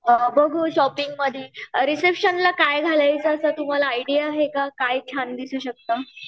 अ बघू शॉपिंगमध्ये अ रिसेप्शनमध्ये काय घालायचं काय तुम्हाला आयडिया आहे का? काय छान दिसू शकतं?